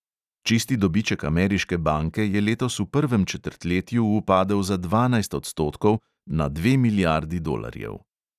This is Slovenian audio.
Čisti dobiček ameriške banke je letos v prvem četrtletju upadel za dvanajst odstotkov, na dve milijardi dolarjev.